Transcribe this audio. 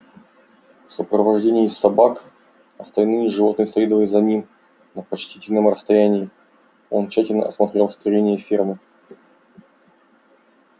в сопровождении собак остальные животные следовали за ним на почтительном расстоянии он тщательно осмотрел строения фермы